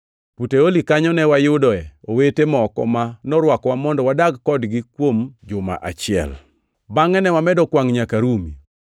Puteoli kanyo ne wayude owete moko ma norwakowa mondo wadag kodgi kuom juma achiel. Bangʼe ne wamedo kwangʼ nyaka Rumi.